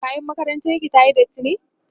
kayan makarantar ki tayi datti?